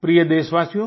प्रिय देशवासियो